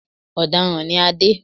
Ọ̀daràn ni Adé